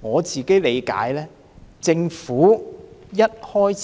我本人的理解是，政府沒有說過一